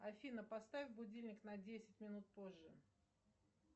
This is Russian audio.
афина поставь будильник на десять минут позже